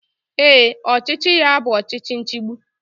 Ee, ọchịchị ya bụ ọchịchị nchigbu